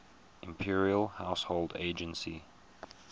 imperial household agency